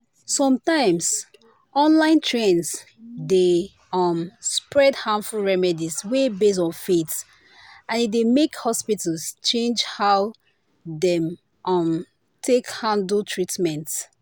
sometimes online trends dey um spread harmful remedies wey base on faith and e dey make hospitals change how dem um take handle treatment.”